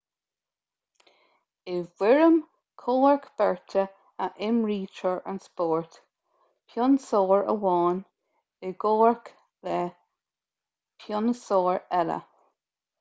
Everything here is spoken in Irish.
i bhfoirm comhrac beirte a imrítear an spórt pionsóir amháin i gcomhrac le pionsóir eile